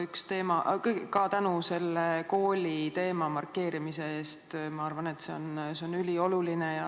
Tänu ka kooliteema markeerimise eest, ma arvan, et see on ülioluline.